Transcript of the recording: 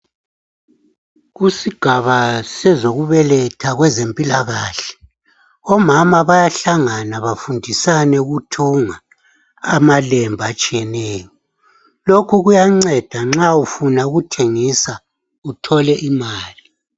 Kusigaba sezokubeletha kwezempilakahle, omama bayahlangana bafundisane ukuthunga amalembu atshiyeneyo. Lokhu kuyanceda nxa ufuna ukuthengisa uthole imali